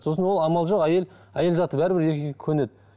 сосын ол амал жоқ әйел әйел заты бәрібір еркекке көнеді